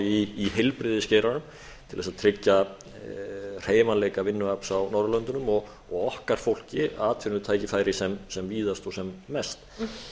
í heilbrigðisgeiranum til þess að tryggja hreyfanleika vinnuafls á norðurlöndunum og okkar fólki atvinnutækifæri sem víðast og sem mest